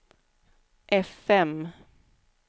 fm